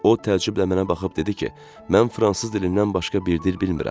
O təəccüblə mənə baxıb dedi ki, mən fransız dilindən başqa bir dil bilmirəm.